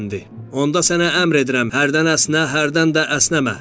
Onda sənə əmr edirəm, hərdən əsnə, hərdən də əsnəmə.